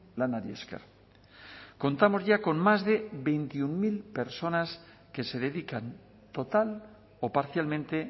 lanari esker contamos ya con más de veintiuno mil personas que se dedican total o parcialmente